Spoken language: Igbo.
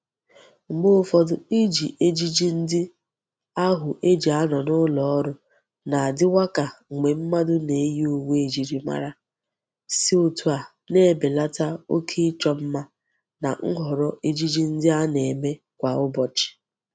Mgbe ufodu Iji ejiji ndi ahu e ji ano n'uloru na-adiwa ka mgbe mmadu na-eyi uwe ejiri mara, si otu a na-ebelata oke icho mma na nhoro ejiji ndi a na-eme Kwa ubochi.